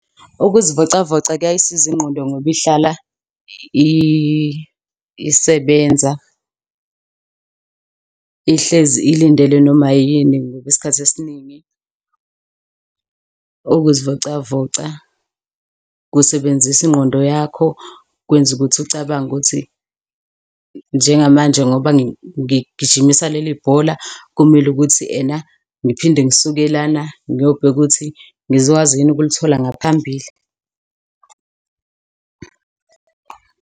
Ukuzivocavoca kuyayisiza ingqondo ngoba ihlala isebenza, ihlezi ikulindele noma yini ngoba isikhathi esiningi ukuzivocavoca kusebenzisa ingqondo yakho. Kwenza ukuthi ucabange ukuthi njengamanje ngoba ngigijimisa leli bhola, kumele ukuthi ena ngiphinde ngisuke lana ngiyobheka ukuthi ngizokwazi yini ukulithola ngaphambili.